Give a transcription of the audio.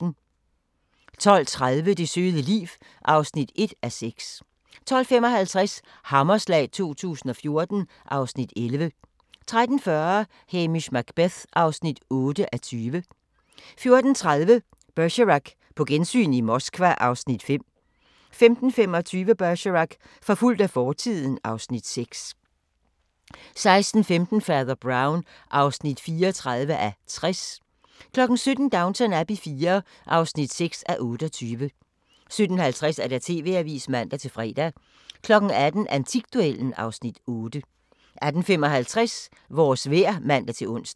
12:30: Det søde liv (1:6) 12:55: Hammerslag 2014 (Afs. 11) 13:40: Hamish Macbeth (8:20) 14:30: Bergerac: På gensyn i Moskva (Afs. 5) 15:25: Bergerac: Forfulgt af fortiden (Afs. 6) 16:15: Fader Brown (34:60) 17:00: Downton Abbey IV (6:28) 17:50: TV-avisen (man-fre) 18:00: Antikduellen (Afs. 8) 18:55: Vores vejr (man-ons)